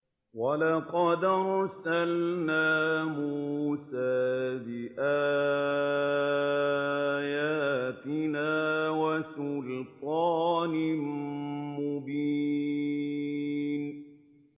وَلَقَدْ أَرْسَلْنَا مُوسَىٰ بِآيَاتِنَا وَسُلْطَانٍ مُّبِينٍ